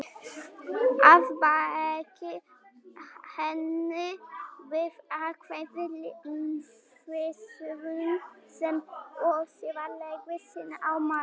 Að baki henni býr ákveðin lífsskoðun sem og siðferðileg sýn á manninn.